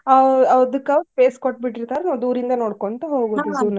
ಅ ಅದಕ್ಕ್ space ಕೊಟ್ಟಿರ್ತಾರ ನಾವ್ ದೂರಿಂದ ನೋಡ್ಕೊಂತ ಹೋಬಿಡುದ.